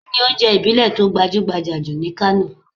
Kini ounje ibile to gbajugbaja ni Kano?